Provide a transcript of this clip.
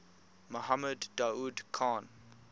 mohammed daoud khan